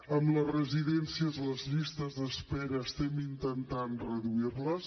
en les residències les llistes d’espera estem intentant reduir les